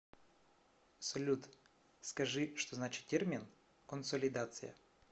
салют скажи что значит термин консолидация